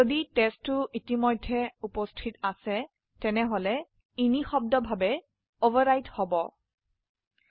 যদি টেষ্ট2 ইতিমধ্যেই থেকে থাকে তাহলে নিশব্দভাবে অভাৰৰাইট হয়ে যায়